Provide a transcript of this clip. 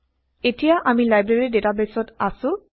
এতিয়া আমি লাইব্ৰেৰী ডেটাবেইছত আছো